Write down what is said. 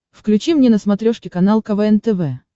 включи мне на смотрешке канал квн тв